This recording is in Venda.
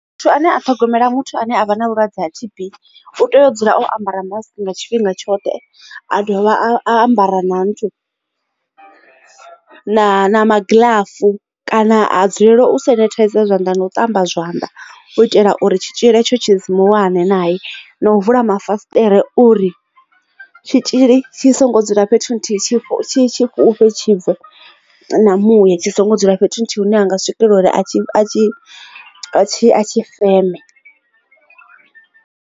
Muthu ane a ṱhogomela muthu ane avha na vhulwadze ha T_B u tea u dzula o ambara mask nga tshifhinga tshoṱhe a dovha a ambara na nthu na magilafu kana a dzulela u sanitizer isa phanḓa na u ṱamba zwanḓa u itela uri tshitzhili itsho tshi simi wane naye, na u vula mafasiṱere uri tshitzhili tshi songo dzula fhethu nthihi tshi fhufhe tshibve na muya tshi songo dzula fhethu hune ha nga swikelela uri a tshi feme.